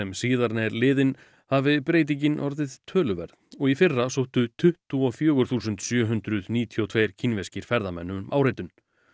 síðan er liðinn hafi breytingin orðið töluverð og í fyrra sóttu tuttugu og fjögur þúsund sjö hundruð níutíu og tvö kínverskir ferðamenn um áritun